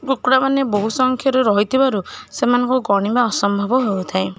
କୁକୁଡ଼ାମାନେ ବହୁତ ସଂଖ୍ୟା ରେ ରହିଥିବାରୁ ସେମାନଙ୍କୁ ଗଣିବା ଅସମ୍ଭବ ହେଉଥାଏ।